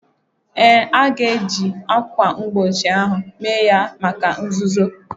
Ee, a ga-eji ákwà mgbochi ahụ mee ya maka nzuzo